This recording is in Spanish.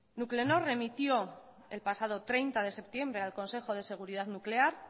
nuclenor remitió el pasado treinta de septiembre al consejo de seguridad nuclear